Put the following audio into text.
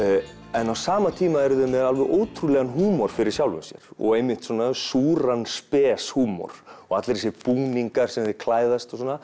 en á sama tíma eru þeir með ótrúlegan húmor fyrir sjálfum sér súran og spes húmor allir þessir búningar sem þeir klæðast og svona